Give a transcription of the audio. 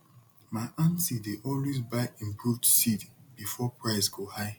my aunty dey always buy improved seed before price go high